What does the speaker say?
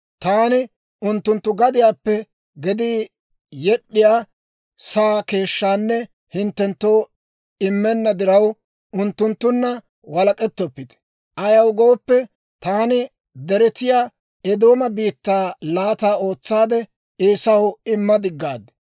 Taani unttunttu gadiyaappe gedii yed'd'iyaa saa keeshshaanne hinttenttoo immenna diraw, unttunttunna walek'ettoppite; ayaw gooppe, taani deretiyaa Eedooma biittaa laata ootsaade Eesaw imma diggaad.